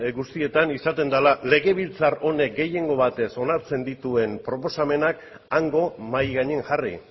guztietan izaten dela legebiltzar honek gehiengo batez onartzen dituen proposamenak hango mahai gainean jarri